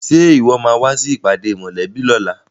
Ṣe ìwọ máa wá sí ìpàdé mòlẹ́bí lóla?